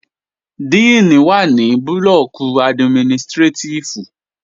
Díìnì wà ní administrétíf blọọ̀kì